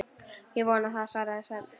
Ég vona það, svarar Svenni.